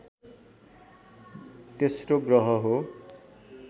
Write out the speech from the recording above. तेस्रो ग्रह हो